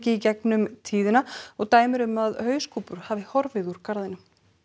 í gegnum tíðina og dæmi um að hauskúpur hafi horfið úr garðinum